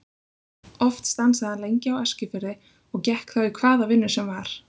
Oft stansaði hann lengi á Eskifirði og gekk þá í hvaða vinnu sem var.